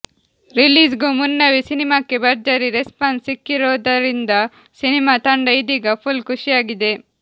release ಗೂ ಮುನ್ನವೇ ಸಿನಿಮಾಕ್ಕೆ ಭರ್ಜರಿ ರೆಸ್ಪಾನ್ಸ್ ಸಿಕ್ಕಿರೋದರಿಂದ ಸಿನಿಮಾ ತಂಡ ಇದೀಗ ಫುಲ್ ಖುಷಿಯಾಗಿದೆ